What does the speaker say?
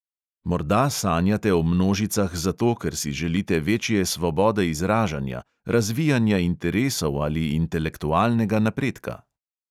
Morda sanjate o množicah zato, ker si želite večje svobode izražanja, razvijanja interesov ali intelektualnega napredka.